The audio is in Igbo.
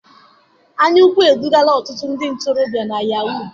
Anyaukwu edugala ọtụtụ ndị ntorobịa na yahoo